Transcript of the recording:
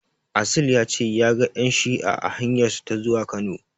Asil ya ce ya ga ƴan shi'a a hanyarsa ta zuwa Kano.